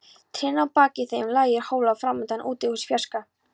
Trén að baki þeim, lágir hólar framundan, útihús í fjarska.